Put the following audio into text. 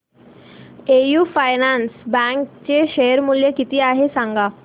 AU finance bank चे share मूल्य किती आहे सांगा